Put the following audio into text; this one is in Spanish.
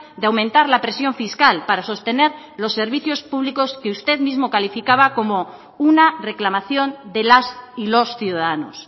de aumentar la presión fiscal para sostener los servicios públicos que usted mismo calificaba como una reclamación de las y los ciudadanos